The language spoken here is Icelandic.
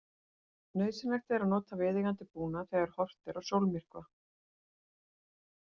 Nauðsynlegt er að nota viðeigandi búnað þegar horft er á sólmyrkva.